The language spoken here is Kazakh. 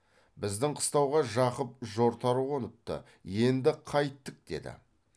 біздің қыстауға жақып жортар қоныпты енді қайттік деді